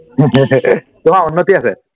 তোমাৰ উন্নতি আছে